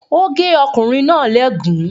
Ó gé ọkùnrin náà léègún.